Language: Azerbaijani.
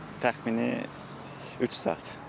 Təxmini üç saat.